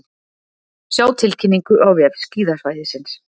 Sjá tilkynningu á vef skíðasvæðisins